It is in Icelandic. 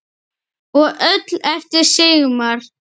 Og öll eftir Sigmar.